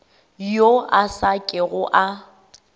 yo a sa kego a